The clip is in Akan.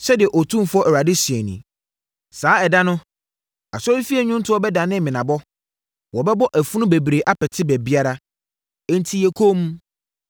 Sɛdeɛ Otumfoɔ Awurade seɛ nie, “Saa ɛda no, asɔrefie nnwontoɔ bɛdane menabɔ. Wɔbɛbɔ afunu bebree apete baabiara! Enti yɛ komm!”